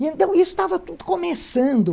Então, isso estava tudo começando.